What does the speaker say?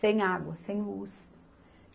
Sem água, sem luz.